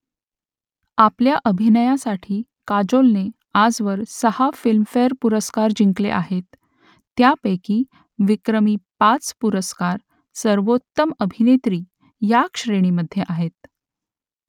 आपल्या अभिनयासाठी काजोलने आजवर सहा फिल्मफेअर पुरस्कार जिंकले आहेत त्यांपैकी विक्रमी पाच पुरस्कार सर्वोत्तम अभिनेत्री ह्या श्रेणीमधे आहेत